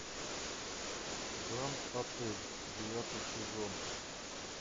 гранд отель девятый сезон